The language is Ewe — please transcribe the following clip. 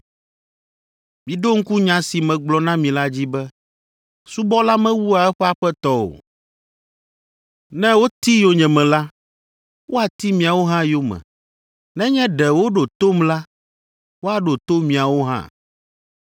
Miɖo ŋku nya si megblɔ na mi la dzi be, ‘Subɔla mewua eƒe Aƒetɔ o.’ Ne woti yonyeme la, woati miawo hã yome. Nenye ɖe woɖo tom la, woaɖo to miawo hã.